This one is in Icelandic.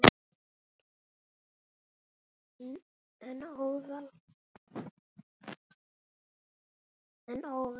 En óðal.